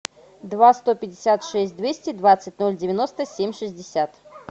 два сто пятьдесят шесть двести двадцать ноль девяносто семь шестьдесят